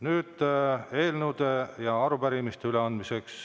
Nüüd on eelnõude ja arupärimiste üleandmine.